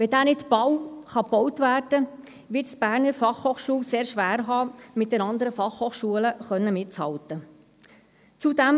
Kann dieser nicht bald gebaut werden, wird es die Berner Fachhochschule (BFH) sehr schwer haben, mit den anderen Fachhochschulen mithalten zu können.